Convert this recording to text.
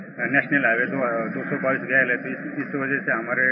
A national highway has been constructed in 2017 through our village Bhinnar